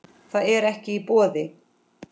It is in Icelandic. Það er ekki í boði.